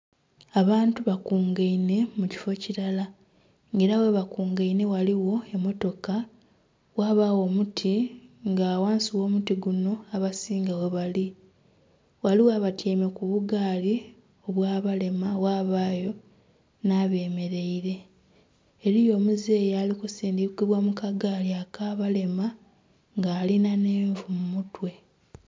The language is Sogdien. Abantu bakungainhe mu kifo kilala. Nga era ghebakungainhe ghaligho emmotoka, ghabagho omuti nga ghansi gh'omuti guno abasinga ghebali. Ghaligho abatyaime ku bugaali obw'abalema, ghabayo nh'abemeleire. Eliyo omuzeyi ali kusindikibwa mu ka gaali ak'abalema nga alina nh'envu mu mutwe.